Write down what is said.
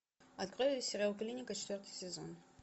открой сериал клиника четвертый сезон